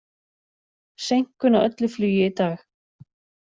Seinkun á öllu flugi í dag